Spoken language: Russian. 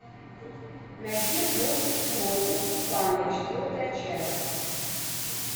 найди мультик кротик и панда четвертая часть